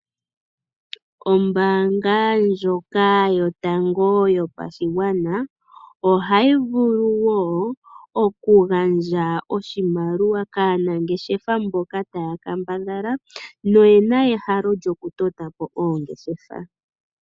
Ombaanga ndjoka yotango yopashigwana, oha yi vulu woo oku gandja oshimaliwa kaanangeshefa mboka ta ya kambadhala, noyena ehalo lyokutota po oongeshefa.